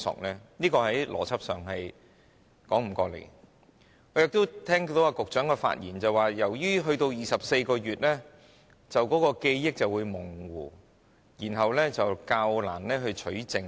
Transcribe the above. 我也聽到局長的發言，他說如果把檢控時效限制增至24個月，當事人的記憶便會模糊，然後較難取證。